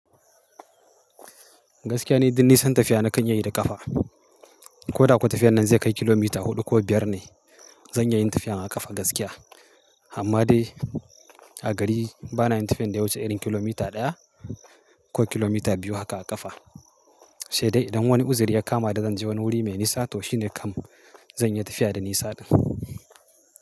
Gaskiya ne, duk nisan tafiya na kan yi ne da ƙafa. Ko da kuwa tafiyan nan zai kai kilomita huɗu ko biyar ne, zan iya yin tafiya a ƙafa gaskiya. Amma dai a gari bana yin tafiyan da ya wuce ɗarin kilomita ɗaya ko kilomita biyu haka a ƙafa. Sai dai idan wani uzuri ya kama da zan je wani wuri mai nisa, to shi ne kam zan yi tafiya da nisa ɗin.